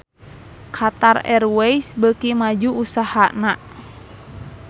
Qatar Airways beuki maju usahana